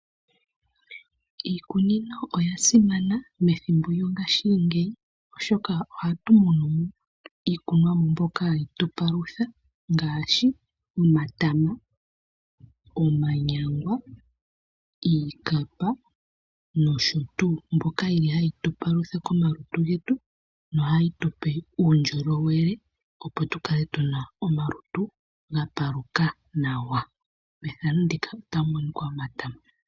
Iikunino oya simana methimbo lyongaashingeyi oshoka ohatu mono mo iikunomwa mbyoka hayi tu palutha ngaashi omatama, omanyangwa , iikapa noshotuu. Oyi li hayi tu palutha komalutu getu nohayi tupe uundjolowele opo tukale tu na omalutu gapaluka nawa.